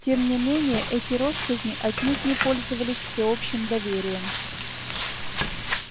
тем не менее эти россказни отнюдь не пользовались всеобщим доверием